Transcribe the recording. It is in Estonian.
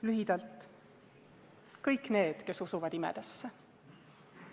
Lühidalt, kõik need, kes usuvad imedesse.